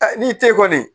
n'i te kɔni